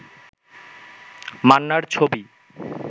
মান্নার ছবি